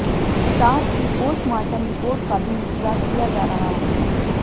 साथ ही postmortem report का भी इंतजार किया जा रहा है